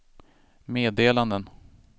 meddelanden